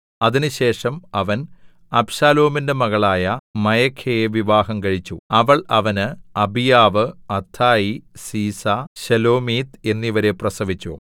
അതിന് ശേഷം അവൻ അബ്ശാലോമിന്റെ മകളായ മയഖയെ വിവാഹം കഴിച്ചു അവൾ അവന് അബീയാവ് അത്ഥായി സീസ ശെലോമീത്ത് എന്നിവരെ പ്രസവിച്ചു